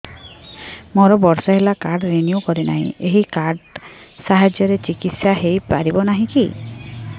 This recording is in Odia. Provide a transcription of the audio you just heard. ମୋର ବର୍ଷେ ହେଲା କାର୍ଡ ରିନିଓ କରିନାହିଁ ଏହି କାର୍ଡ ସାହାଯ୍ୟରେ ଚିକିସୟା ହୈ ପାରିବନାହିଁ କି